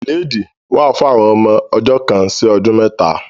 Ìlédìí wà fún àwọn ọmọ ọjọ́ kan sí ọdún mẹ́ta.